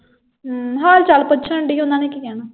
ਅਮ ਹਾਲ ਚਾਲ ਪੁੱਛਣ ਡਈ ਓਹਨਾ ਨੇ ਕੀ ਕਹਿਣਾ।